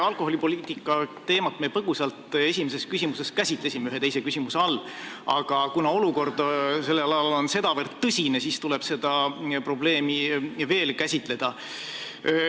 Alkoholipoliitika teemat me põgusalt käsitlesime ühe teise küsimuse all, aga kuna olukord on sedavõrd tõsine, tuleb seda probleemi veel käsitleda.